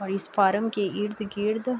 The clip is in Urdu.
اور اس کہرام کے ارد گرد--